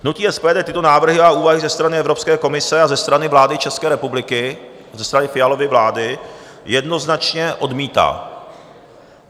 Hnutí SPD tyto návrhy a úvahy ze strany Evropské komise a ze strany vlády České republiky, ze strany Fialovy vlády, jednoznačně odmítá.